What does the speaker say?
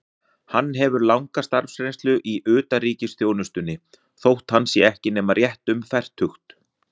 Hann hefur langa starfsreynslu í utanríkisþjónustunni, þótt hann sé ekki nema rétt um fertugt.